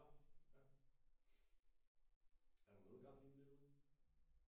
Nå ja er der noget gang i den derude?